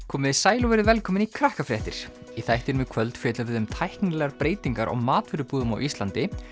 komiði sæl og verið velkomin í í þættinum í kvöld fjöllum við um tæknilegar breytingar á matvörubúðum á Íslandi